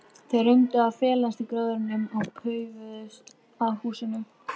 Þeir reyndu að felast í gróðrinum og paufuðust að húsinu.